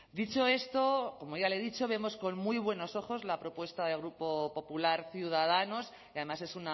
dicho esto como ya le he dicho vemos con muy buenos ojos la propuesta del grupo popular ciudadanos y además es